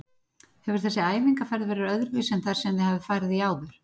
Hefur þessi æfingaferð verið öðruvísi en þær sem þið hafið farið í áður?